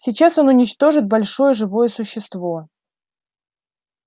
сейчас он уничтожит большое живое существо